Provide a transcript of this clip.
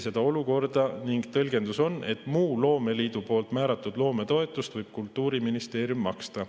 Seda olukorda selgitati ning tõlgendus on, et muud loomeliidu määratud loometoetust võib Kultuuriministeerium maksta.